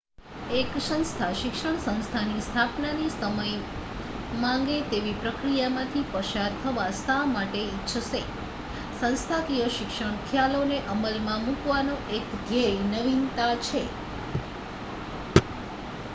એક સંસ્થા શિક્ષણ સંસ્થાની સ્થાપનાની સમય માંગે તેવી પ્રક્રિયામાંથી પસાર થવા શા માટે ઇચ્છશે સંસ્થાકીય શિક્ષણ ખ્યાલોને અમલમાં મૂકવાનો એક ધ્યેય નવીનતા છે